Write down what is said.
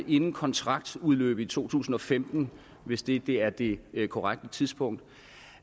inden kontraktudløbet i to tusind og femten hvis det er det korrekte tidspunkt